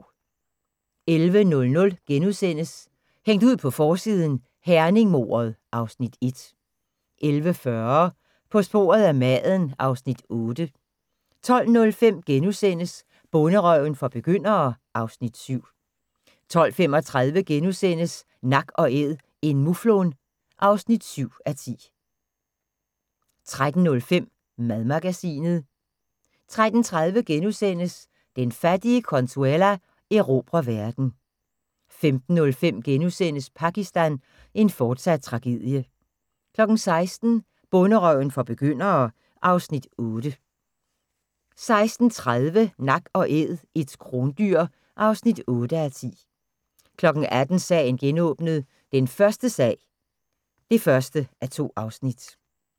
11:00: Hængt ud på forsiden: Herning-mordet (Afs. 1)* 11:40: På sporet af maden (Afs. 8) 12:05: Bonderøven for begyndere (Afs. 7)* 12:35: Nak & æd - en muflon (7:10)* 13:05: Madmagasinet 13:30: Den fattige Consuela erobrer verden * 15:05: Pakistan – en fortsat tragedie * 16:00: Bonderøven for begyndere (Afs. 8) 16:30: Nak & æd - et krondyr (8:10) 18:00: Sagen genåbnet: Den første sag (1:2)